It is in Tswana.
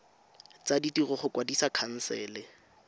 tsa ditiro go kwadisa khansele